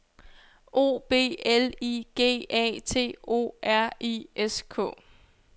O B L I G A T O R I S K